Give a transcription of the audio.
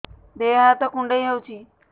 ଦେହ ହାତ କୁଣ୍ଡାଇ ହଉଛି